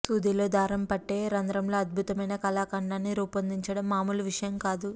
సూదిలో దారం పట్టే రంద్రంలో అద్భుతమైన కళాఖండాన్ని రూపొందించడం మామూలు విషయం కాదు